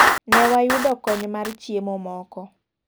Ne wayudo kony mar chiemo moko.